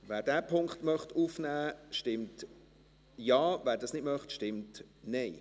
Wer diesen Punkt aufnehmen möchte, stimmt Ja, wer das nicht möchte, stimmt Nein.